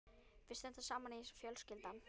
Við stöndum saman í þessu fjölskyldan.